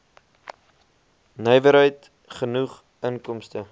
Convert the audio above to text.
nywerheid genoeg inkomste